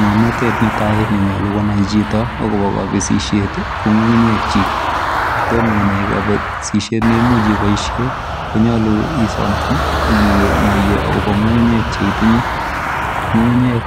Ng'amnatet netai nenyalu konai chito akobo kabesisiet ko ng'ung'unyek chiik kotomo inai kabasisiet neimuuch iboisie konyoolu isoman akinaiye akobo ng'ung'unyek cheitinye. Ng'eng'unyek